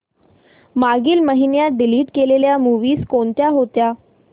मागील महिन्यात डिलीट केलेल्या मूवीझ कोणत्या होत्या